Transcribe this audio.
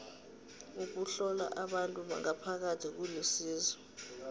ukuhlola abantu ngaphakathi kulisizo